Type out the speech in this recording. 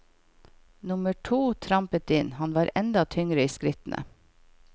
Nummer to trampet inn, han var enda tyngre i skrittene.